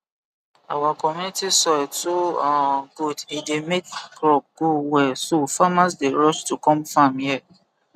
our community soil too um good e dey make crop grow well so farmers dey rush to come farm here